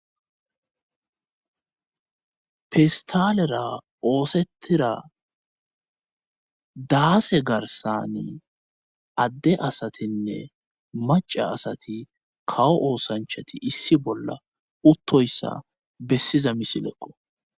pistalera oosettira daase garsani adde asatinne maca asati kawo oosanchati issi bolla uttoyssa bessiza misileko